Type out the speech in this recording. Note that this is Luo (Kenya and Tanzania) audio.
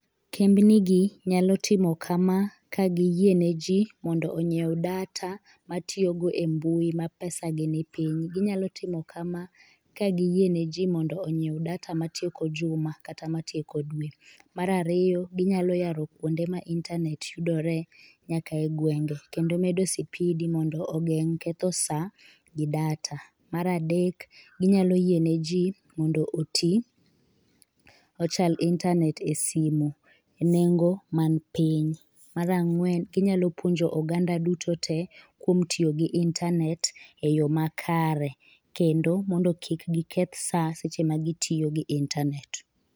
Kembni gi nyalo timo kama ka giyiene ji mondo onyiew data matiyogo e mbui ma pesa gi ni piny. Ginyalo timo kama ka giyie ne ji mondo onyiew data matieko juma kata matieko dwe. Marariyo, ginyalo yaro kuonde ma intanet yudore nyaka e gwenge kendo medo sipidi mondo ogeng' ketho sa gi data. Maradek, ginyalo yiene ji mondo oti, ochal intanet e simu e nengo man piny. Marang'wen, inyalo puonjo oganda duto te kuom tiyo gi intanet e yo makare. Kendo mondo kik giketh sa seche ma gitiyo gi intanet.